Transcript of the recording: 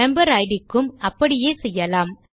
member id க்கும் அப்படியே செய்யலாம்